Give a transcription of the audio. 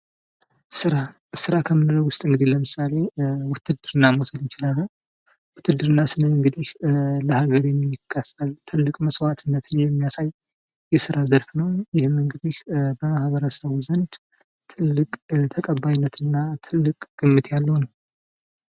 ስራ ስራ ከምንለው ውስጥ እንግዲህ ለምሳሌ ውትድርና መውሰድ እንችላለን። ውትድርና ስንል እንግዲህ ለሀገር የሚከፈል ትልቅ መስዋዕትነት የሚያሳይ የስራ ዘርፍ ነው። ይህም እንግዲህ በማህበረሰቡ ዘንድ ትልቅ ተቀባይነት እና ትልቅ ግምት ያለው ነው።